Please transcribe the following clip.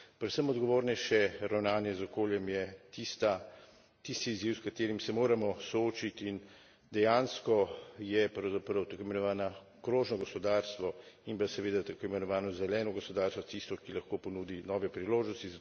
Predvsem odgovornejše ravnanje z okoljem je tisti izziv, s katerim se moramo soočiti, in dejansko je, pravzaprav, tako imenovano krožno gospodarstvo in pa seveda tako imenovano zeleno gospodarstvo tisto, ki lahko ponudi nove priložnosti.